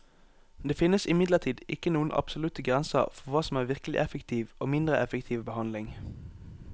Det finnes imidlertid ikke noen absolutte grenser for hva som er virkelig effektiv og mindre effektiv behandling.